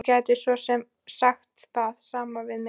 Þú gætir svo sem sagt það sama við mig.